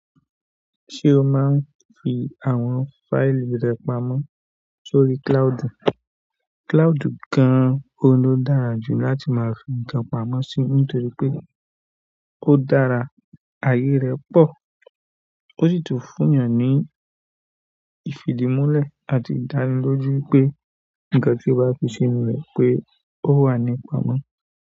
Ṣé o máa ń fi àwọn fáìlì rẹ pamọ́ sórí cloud? Cloud gan-an oun lo dára jù láti máa fi nǹkan pamọ́ sí nítorí pé ó dára ayé rẹ pọ̀, ó sì tún fún èèyàn ní ìfìdí múlẹ̀ àti ìdánilójú pé nǹkan tí o bá fi sínú rẹ̀ pé ó wà ní pamọ́.